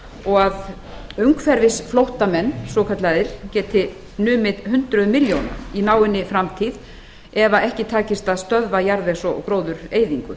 og að umhverfisflóttamenn svokallaðir geti numið hundruðum milljóna í náinni framtíð ef ekki takist að stöðva jarðvegs og gróðureyðingu